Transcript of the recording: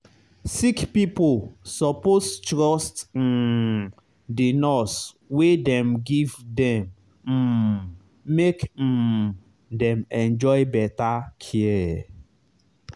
sick pipo suppose trust um the nurse wey dem give dem um make um dem enjoy better care.